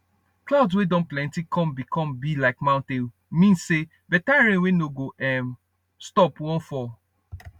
cloud wey don plenty come be come be like mountain mean say better rain wey no go um stop wan fall